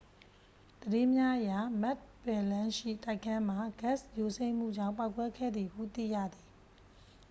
သတင်းများအရ မက်ခ်ဘသ်လမ်းရှိ တိုက်ခန်းမှာ ဂတ်စ် ယိုစိမ့်မှုကြောင့် ပေါက်ကွဲခဲ့သည်ဟု သိရသည်